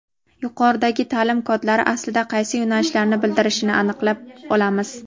yuqoridagi taʼlim kodlari aslida qaysi yo‘nalishlarni bildirishini aniqlab olamiz.